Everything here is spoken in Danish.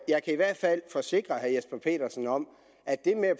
jeg kan i hvert fald forsikre herre jesper petersen om at det med at